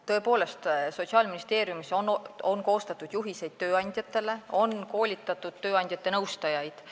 Tõepoolest, Sotsiaalministeeriumis on koostatud juhiseid tööandjatele ja on koolitatud tööandjate nõustajaid.